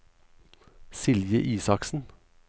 Silje Isaksen